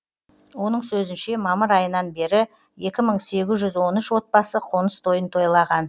оның сөзінше мамыр айынан бері екі мың сегіз жүз он үш отбасы қоныс тойын тойлаған